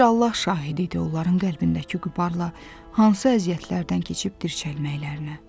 Bir Allah şahidi idi onların qəlbindəki qubarla hansı əziyyətlərdən keçib dirçəlməklərinə.